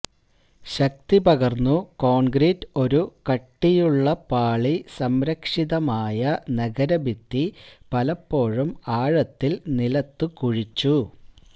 ശക്തിപകർന്നു concrete ഒരു കട്ടിയുള്ള പാളി സംരക്ഷിതമായ നഗരഭിത്തി പലപ്പോഴും ആഴത്തിൽ നിലത്തു കുഴിച്ചു